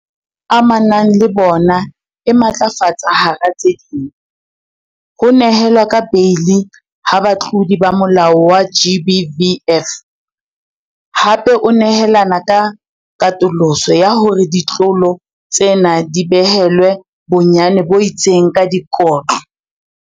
Amanang le bona e matlafatsa hara tse ding, ho nehelwa ka beili ha batlodi ba molao wa GBVF, hape o nehelana ka katoloso ya hore ditlolo tsena di behelwe bonyane bo itseng ba dikotlo.